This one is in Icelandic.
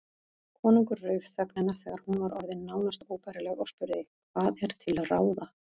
Konungur rauf þögnina þegar hún var orðin nánast óbærileg og spurði:-Hvað er til ráða?